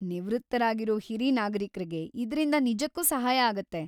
ನಿವೃತ್ತರಾಗಿರೋ ಹಿರಿ ನಾಗರೀಕ್ರಿಗೆ‌ ಇದ್ರಿಂದ ನಿಜಕ್ಕೂ ಸಹಾಯ ಆಗತ್ತೆ.